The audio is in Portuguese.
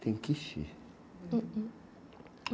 Tem quiche?